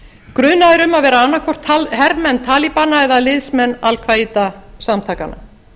grunaðir um að vera annaðhvort hermenn talibana eða liðsmenn al halda samtakanna